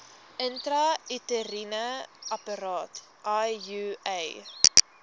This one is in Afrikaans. intrauteriene apparaat iua